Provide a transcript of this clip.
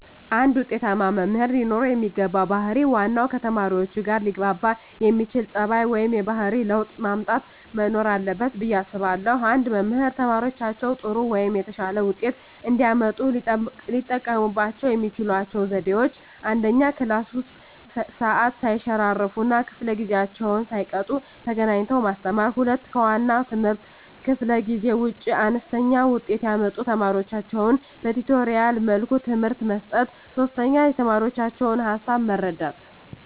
አንድ ውጤታማ መምህር ለኖረው የሚገባው ባህር ዋናው ከተማሪዎቹጋ ሊያግባባ የሚያስችል ፀባዩ ወይም የባህሪ ለውጥ ማምጣት መኖር አለበት ብየ አስባለሁ። አንድ መምህር ተማሪዎቻቸው ጥሩ ወይም የተሻለ ውጤት እንዲያመጡ ሊጠቀሙባቸው የሚችሏቸው ዘዴዎች፦ 1, ክላስ ውስጥ ሰዓት ሰይሸራርፍ እና ከፈለ ጊዜአቸውን ሳይቀጡ ተገኝተው ማስተማር። 2, ከዋና የትምህርት ክፍለ ጊዜ ውጭ አነስተኛ ውጤት ያመጡ ተማሪዎቻቸውን በቲቶሪያል መልኩ ትምህርት መስጠት። 3, የተማሪዎቻቸውን ሀሳብ መረዳት